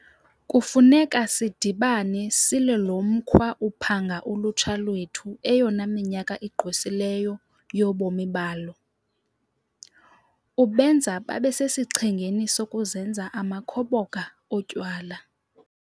Kufuneka sidibane silwe lo mkhwa uphanga ulutsha lwethu eyona minyaka igqwesileyo yobomi balo, ubenza babe sesichengeni sokuzenza amakhoboka otywala.